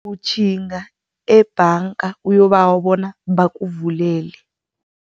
Utjhinga ebhanga uyokubawa bona bakuvulele.